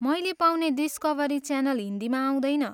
मैले पाउने डिस्कभरी च्यालन हिन्दीमा आउँदैन।